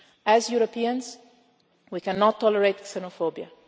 As Europeans we cannot tolerate xenophobia.